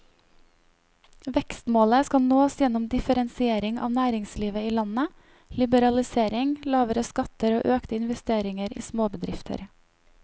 Vekstmålet skal nås gjennom differensiering av næringslivet i landet, liberalisering, lavere skatter og økte investeringer i småbedrifter.